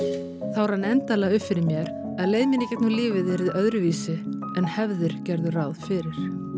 þá rann endanlega upp fyrir mér að leið mín gegnum lífið yrði öðruvísi en hefðir gerðu ráð fyrir